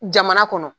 Jamana kɔnɔ